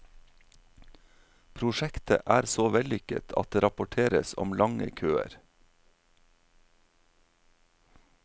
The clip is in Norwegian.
Prosjektet er så vellykket at det rapporteres om lange køer.